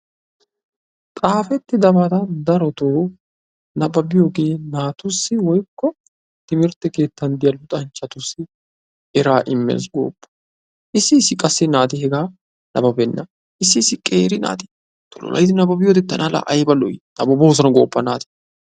Xaafettidabata darotoo nabbabiyogee naatussi/timirtte keettan diya luxanchchatussi eraa immees gooppa! Issi issi naati qassi hegaa nabbabenna. Issi issi qeera naati tullayidi nabbabiyode tana laa ayba lo'ii! Nabbaboosona. gooppa naati!